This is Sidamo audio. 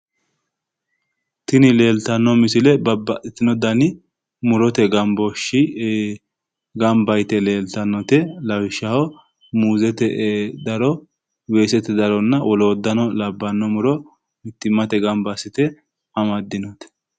Tini leeltanno misile babbaxino mu'rote gambooshshi gamba yite leeltannote lawishshaho muuzete daro weesete daro woloottano labbanno daro mittimmatenni gamba assite amaddinote